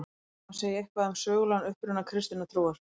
Þó má segja eitthvað um sögulegan uppruna kristinnar trúar.